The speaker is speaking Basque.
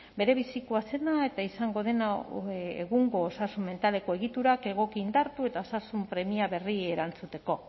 berebizikoa zena eta izango dena egungo osasun mentaleko egiturak egoki indartu eta osasun premia berriei erantzuteko